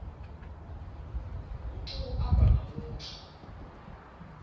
u tou amba na muthu